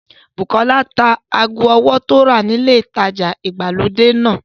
Bùkọ́lá ta ago ọwọ́ tí ó rà ni ilé ìtajà ìgbàlódé náà